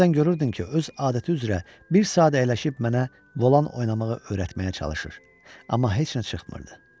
Bəzən görürdün ki, öz adəti üzrə bir saat əyləşib mənə volan oynamağa öyrətməyə çalışır, amma heç nə çıxmırdı.